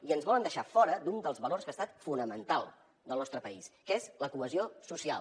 i ens volen deixar fora d’un dels valors que ha estat fonamental del nostre país que és la cohesió social